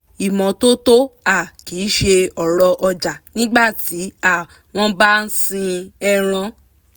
ìmọ́tótó um kì ṣe ọ̀rọ̀ ọjà nígbà tí um wọ́n bá sin ẹran